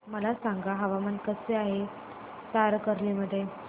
मला सांगा हवामान कसे आहे तारकर्ली मध्ये